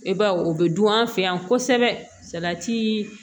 E baw o bɛ dun an fɛ yan kosɛbɛ salati